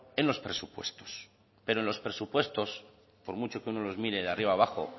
en los presupuestos pero en los presupuestos por mucho que uno los mire de arriba a abajo